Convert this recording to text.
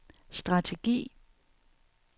strategi